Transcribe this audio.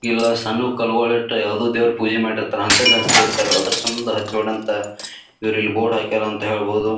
ಇಲ್ಲ ಸಣ್ಣು ಕಲ್ಲಗೋಲ್ ಇಟ್ಟ ಯಾವುದೊ ದೇವ್ರ ಪೂಜಿ ಮಾಡಿರ್ತಾರೆ ಅಂತ ಹಂತಿಲ್ ಹ್ಯಾಚ್ಚ್ಸಿರ್ತಾರ್ ಅದ್ರ ಸಂಬಂಧ ಹಚ್ ಬೇಡ ಅಂತ ಇವ್ರು ಇಲ್ಲಿ ಬೋರ್ಡ್ ಹಾಕ್ಯಾರ ಅಂತ ಹೇಳ್ಬಹುದು.